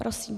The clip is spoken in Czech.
Prosím.